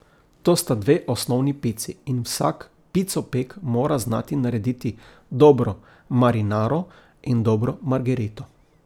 To sta dve osnovni pici in vsak picopek mora znati narediti dobro marinaro in dobro margerito.